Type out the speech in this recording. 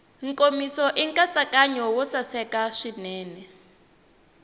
nkomiso nkatsakanyo wo saseka swinene